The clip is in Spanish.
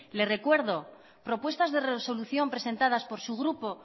le recuerdo propuestas de resolución presentadas por su grupo